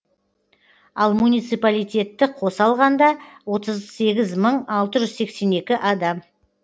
ал муниципалитетті қоса алғанда отыз сегіз мың алты жүз сексен екі адам